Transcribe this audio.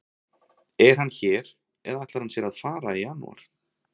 Er hann hér eða ætlar hann sér að fara í janúar?